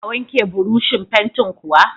Za ka wanke burushin fantin kuwa?